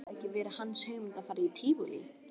Hafði það ekki verið hans hugmynd að fara í Tívolí?